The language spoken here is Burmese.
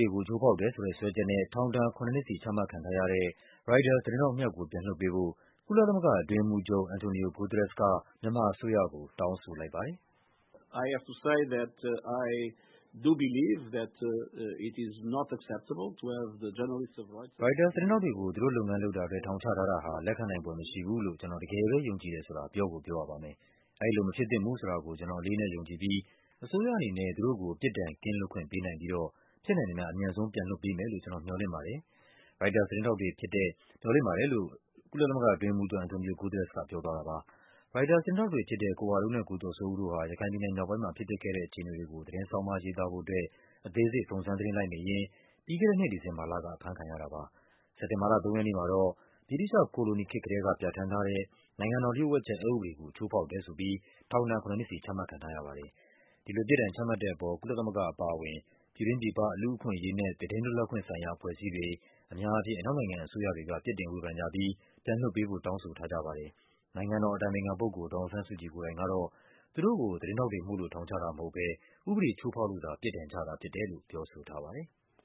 ေကို ချိုးဖောက်တယ်ဆိုတဲ့စွဲချက်နဲ့ ထောင်ဒဏ် ၇ နှစ်စီ ချမှတ်ခံထားရတဲ့ ရိုက်တာ သတင်း ထောက်နှစ်ယောက်ကို ပြန်လွှတ်ပေးဖို့ ကုလသမဂ္ဂအတွင်းရေးမှူးချုပ် Antonio Guterres က မြန်မာအစိုးရကို တောင်းဆိုလိုက် ပါတယ်။ “ရိုက်တာသတင်းထောက်တွေကို သူတို့လုပ်ငန်းလုပ်တာအတွက် ထောင်ချထားတာဟာ လက်ခံနိုင်ဖွယ်မရှိဘူးလို့ ကျနော် တကယ်ပဲ ယုံကြည်တယ်ဆိုတာ ပြောကိုပြောရပါမယ်။ အဲဒီလိုမဖြစ်သင့်ဘူးဆိုတာကို ကျနော် အလေးအနက်ယုံကြည်ပြီး အစိုးရ အနေနဲ့ သူတို့ကို ပြစ်ဒဏ်ကင်းလွတ်ခွင့်ပေးနိုင်ပြီးတော့ ဖြစ်နိုင်သမျှ အမြန်ဆုံး ပြန်လွှတ်ပေးမယ်လို့ ကျနော် မျှော်လင့်ပါတယ်။" ရိုက်တာသတင်းထောက်တွေဖြစ်တဲ့ ကိုဝလုံးနဲ့ ကိုကျော်စိုးဦးတို့ဟာ ရခိုင်ပြည်နယ်မြောက်ပိုင်းမှာ ဖြစ်ပျက်ခဲ့တဲ့ အခြေအနေတွေ ကို သတင်းဆောင်းပါးရေးသားဖို့အတွက် အသေးစိတ် စုံစမ်း သတင်းလိုက်နေရင်း ပြီးခဲ့တဲ့နှစ် ဒီဇင်ဘာလက အဖမ်းခံရတာပါ။ စက်တင်ဘာလ ၃ ရက်နေ့မှာတော့ ဗြိတိသျှကိုလိုနီခေတ်ကတည်းက ပြဌာန်းသွားတဲ့ နိုင်ငံတော် လျှို့ဝှက်ချက်အက်ဥပဒေကို ချိုးဖောက်တယ်ဆိုပြီး ထောင်ဒဏ် ၇ နှစ်စီ ချမှတ်ခံရတာပါ။ ဒီလိုပြစ်ဒဏ်ချမှတ်တဲ့အပေါ် ကုလသမဂ္ဂအပါအဝင် ပြည်တွင်းပြည်ပက လူ့အခွင့်အရေးနဲ့ သတင်းလွတ်လပ်ခွင့်ဆိုင်ရာ အဖွဲ့အစည်းတွေ၊ အများအားဖြင့် အနောက်နိုင်ငံအစိုးရတွေ ပြစ်တင် ဝေဖန်ကြပြီး ပြန်လွှတ်ပေးဖို့ တောင်းဆိုထားကြပါတယ်။ နိုင်ငံတော်အတိုင်ပင်ခံပုဂ္ဂိုလ် ဒေါ်အောင်ဆန်းစုကြည် ကိုယ်တိုင်ကတော့ သူတို့ကို သတင်းထောက်တွေမို့လို့ ထောင်ချတာ မဟုတ်ဘဲ ဥပဒေချိုးဖောက်လို့သာ ပြစ်ဒဏ်ချတာဖြစ်တယ်လို့ ပြောဆိုထားပါတယ်။